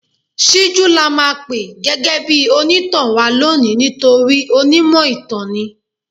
Síjú la máa pè gẹ́gẹ́ bí onítàn wa lónìí nítorí onímọ̀ ìtàn ni.